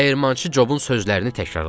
Dəyirmançı Jobun sözlərini təkrarladı.